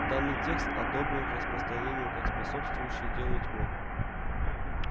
данный текст одобрен к распространению как способствующий делу тьмы